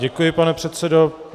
Děkuji, pane předsedo.